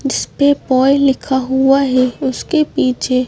जिस पे बाय लिखा हुआ है उसके पीछे